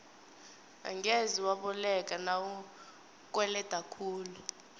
angeze waboleka nawukweleda khulu